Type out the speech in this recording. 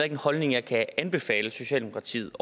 en holdning jeg kan anbefale socialdemokratiet